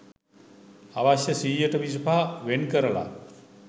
අවශ්‍ය සීයට විසිපහ වෙන් කරල